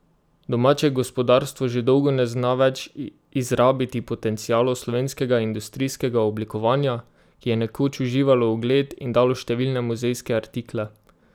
Domače gospodarstvo že dolgo ne zna več izrabiti potencialov slovenskega industrijskega oblikovanja, ki je nekoč uživalo ugled in dalo številne muzejske artikle.